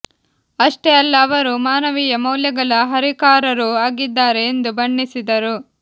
ಅಷ್ಟೇ ಅಲ್ಲ ಅವರು ಮಾನವೀಯ ಮೌಲ್ಯಗಳ ಹರಿಕಾರರೂ ಆಗಿದ್ದಾರೆ ಎಂದು ಬಣ್ಣಿಸಿದರು